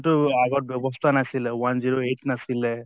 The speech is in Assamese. তো আগত ব্য়ৱস্থা নাছিলে, one zero eight নাছিলে